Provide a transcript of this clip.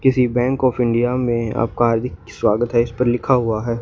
किसी bank of India में आपका हार्दिक स्वागत है इसपर लिखा हुआ है।